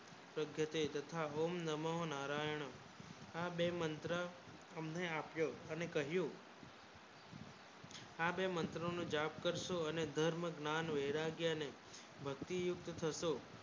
ભગવતે તથા ઓમ નામો નારાયણ આ બે મંત્રો હમને આપો અને કહ્યું આ બે મંત્રો ને જાપ કરશો અને દોર ને ગ્ન્યાન વૈરાગ્ય ને ભક્તિ યુક્ત થશે